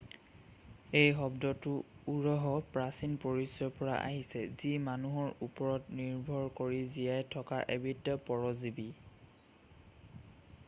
এই শব্দটো উৰহৰ প্ৰাচীন পৰিচয়ৰ পৰা আহিছে যি মানুহৰ ওপৰত নিৰ্ভৰ কৰি জীয়াই থকা এবিধ পৰজীৱি